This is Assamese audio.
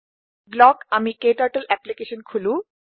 বলক আমি ক্টাৰ্টল এপলিকেছন খোলো